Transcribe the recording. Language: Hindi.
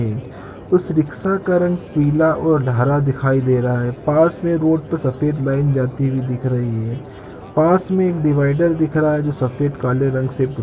उस रिक्शा का रंग पीला और हरा दिखाई दे रहा है पास में रोड पे सफेद लाइन जाती हुई दिख रही है पास मन डिवाइडर दिख रहा है जो सफेद काले रंग से घुटा हुआ है।